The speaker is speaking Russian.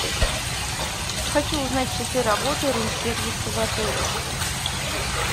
хочу узнать часы работы рум сервиса в отеле